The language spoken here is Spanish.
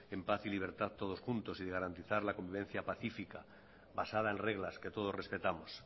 en paz y en libertad todos juntos y de garantizar la convivencia pacífica basada en reglas que todos respetamos